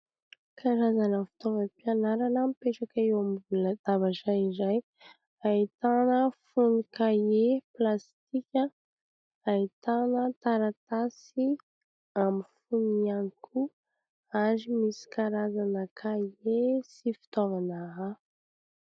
Karazana fitaovam-pianarana mipetraka eo ambony latabatra indray. Ahitana fonon-kahie plastika, ahitana taratasy amin'ny fonony ihany koa ary misy karazana kahie sy fitaovana hafa.